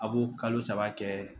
A b'o kalo saba kɛ